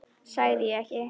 Sagði ég ekki?